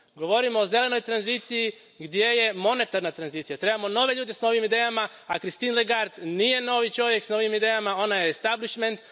Govorimo o zelenoj tranziciji, gdje je monetarna tranzicija, trebamo nove ljude s novim idejama, a Christine Lagarde nije novi čovjek s novim idejama, ona je establishment